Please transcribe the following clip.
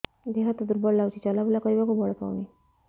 ଦେହ ହାତ ଦୁର୍ବଳ ଲାଗୁଛି ଚଲାବୁଲା କରିବାକୁ ବଳ ପାଉନି